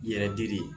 Yɛrɛ dili